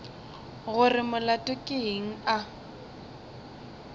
gore molato ke eng a